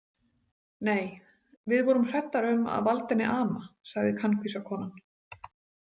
Nei, við vorum hræddar um að valda henni ama, sagði kankvísa konan.